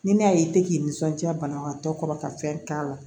Ni ne y'a ye i tɛ k'i nisɔndiya banabagatɔ kɔrɔ ka fɛn k'a la